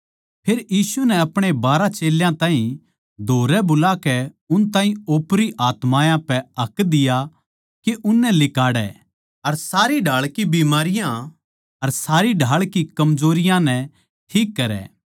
फेर यीशु नै अपणे बारहां चेल्यां ताहीं धोरै बुलाकै उन ताहीं ओपरी आत्मायाँ पै हक दिया के उननै लिकाड़ै अर सारी ढाळ की बिमारियाँ अर सारी ढाळ की कमजोरियाँ नै ठीक करै